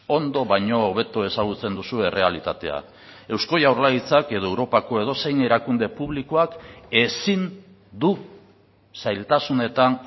ondo baino hobeto ezagutzen duzu errealitatea eusko jaurlaritzak edo europako edozein erakunde publikoak ezin du zailtasunetan